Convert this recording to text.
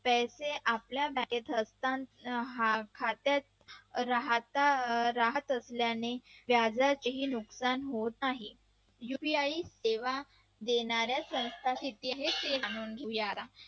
पैसे आपल्या खात्यात राह त राहत असल्याने व्याजाचे नुकसान होत नाही UPI देण्यात जेव्हा देण्याच्या संस्थांने